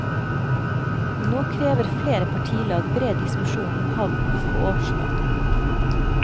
Nå krever flere partilag bred diskusjon om havnen på årsmøtet.